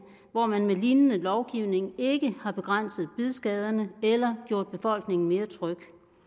hvor man med lignende lovgivning ikke har begrænset bidskaderne eller gjort befolkningen mere tryg